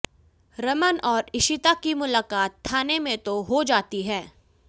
रमन और इशिता की मुलाकात थाने में तो हो जाती है